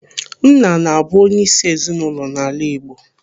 Nna na-abụ onyeisi ezinụlọ n'ala Igbo.